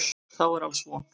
Þá er alls von.